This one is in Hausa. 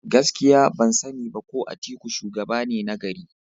Gaskiya! ban sani ba ko Atuku shugaba ne nagari.